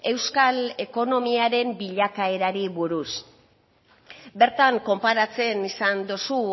euskal ekonomiaren bilakaerari buruz bertan konparatzen izan duzu